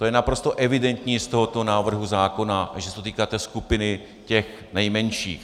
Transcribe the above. To je naprosto evidentní z tohoto návrhu zákona, že se to týká té skupiny těch nejmenších.